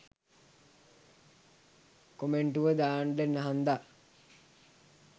කොමෙන්ටුව දාන්ඩ හන්දා